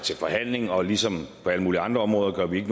til forhandling og ligesom på alle mulige andre områder gør vi